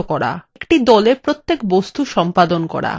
একটি দলের প্রতিটি বস্তু সম্পাদন করা